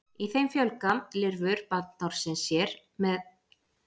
í þeim fjölga lirfur bandormsins sér með kynlausri æxlun og safna vökva